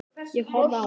Ég horfði á hann.